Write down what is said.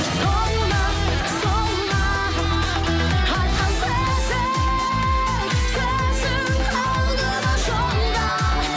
сол ма сол ма айтқан сөзің сөзің қалды ма жолда